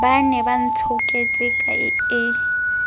ba ne ba ntshoketse e